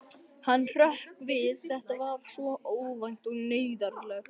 Hann hrökk við, þetta var svo óvænt og neyðarlegt.